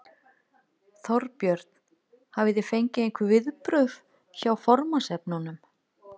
Þorbjörn: Hafið þið fengið einhver viðbrögð hjá formannsefnunum?